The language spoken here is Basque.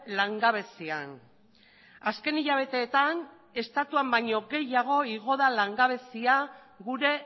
langabezian azken hilabetetan estatuan baino gehiago igo da langabezia gure